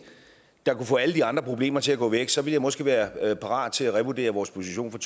der kunne få alle de andre problemer til at gå væk så ville jeg måske være parat til at revurdere vores position